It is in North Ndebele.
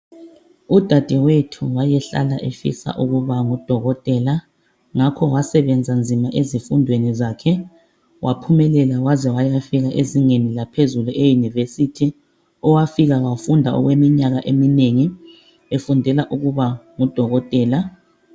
Udadewethu wayehlala efisa ukuba ngudokotela ngakho wasebenza nzima ezifundweni zakhe waphumelela waze wayafika ezingeni laphezulu eYunivesi owafika wafunda okweminyaka eminengi efundela ukuba ngudokotela.